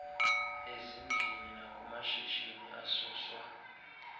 ezindlwini nakumashishini asuswa